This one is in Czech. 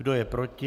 Kdo je proti?